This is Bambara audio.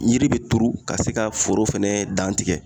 Yiri be turu ka se ka foro fɛnɛ dan tigɛ